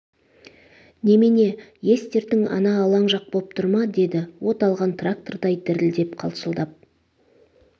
немене ес-дертің ана алаң жақ боп тұр ма деді от алған трактордай дірілдеп-қалшылдап